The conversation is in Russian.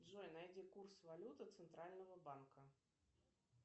джой найди курс валюты центрального банка